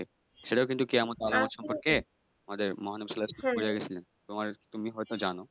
সেটাও কিন্তু কেয়ামতের আলামত সম্পর্কে মহানবী সাল্লাল্লাহু সাল্লাম বলে গেছেন তুমি হয়ত জান।